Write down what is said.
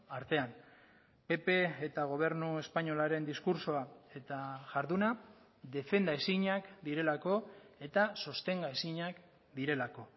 artean pp eta gobernu espainolaren diskurtsoa eta jarduna defenda ezinak direlako eta sostenga ezinak direlako